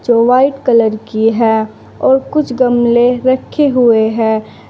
जो white colour की है और कुछ गमले रखे हुए हैं।